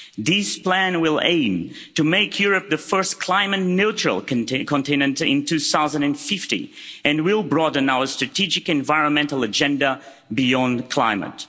This plan will aim to make Europe the first climate neutral continent in 2050 and will broaden our strategic environmental agenda beyond climate.